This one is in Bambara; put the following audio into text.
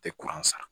Tɛ kuran san